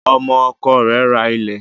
Ọmọ ọkọ rẹ̀ rà ilẹ